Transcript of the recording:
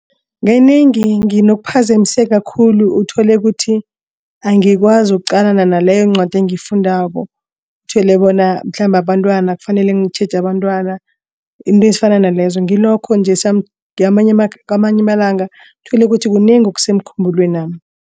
Kanengi nginokuphazamiseka khulu uthole kuthi angikwazi ukuqalana naleyoncwadi engiyifundako. Uthole bona mhlambe abantwana kufanele ngitjheje abantwana izinto ezifana nalezo ngilokho nje kwamanye amalanga uthole ukuthi kunengi okusemkhumbulwami.